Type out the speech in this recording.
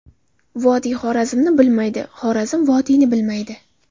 Vodiy Xorazmni bilmaydi, Xorazm vodiyni bilmaydi.